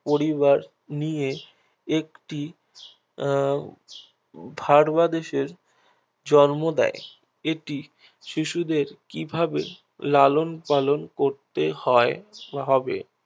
পরিবার নিয়ে একটি আহ ফারবা দেশের জন্ম দেয় এটি শিশুদের কিভাবে লালন পালন করতে হয় বা হবে